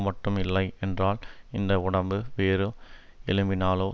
மட்டும் இல்லை என்றால் இந்த உடம்பு வெறு எலும்பினாலோ